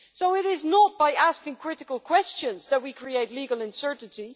It is not by asking critical questions that we create legal uncertainty